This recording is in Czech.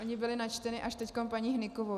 Ony byly načteny až teď paní Hnykovou.